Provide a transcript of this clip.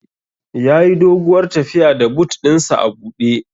Yayi doguwar tafiya da but ɗin sa a buɗe